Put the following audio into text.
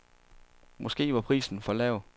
Måske var prisen for lav.